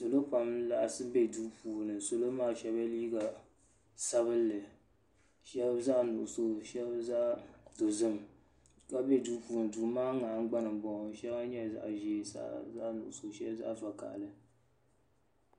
Salo pam n laɣasi be duu puuni salo maa sheba ye liiga sabinli sheba zaɣa nuɣuso sheba zaɣa dozim ka be duu puuni duu maa ŋmahingbana m boŋɔ sheli nyɛla zaɣa ʒee sheli zaɣa nuɣuso sheli zaɣa vakahali.